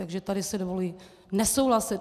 Takže tady si dovoluji nesouhlasit.